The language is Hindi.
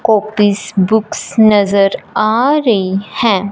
कॉपीज बुक्स नजर आ रही हैं।